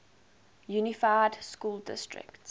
unified school district